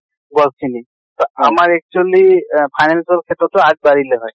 গছ খিনি। তʼ আমাৰ actually আহ finance ৰ ক্ষ্ত্ৰতো আগ বাঢ়িলে হয়।